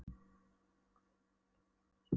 Nákvæma kortlagningu allra lauga og volgra á svæðinu.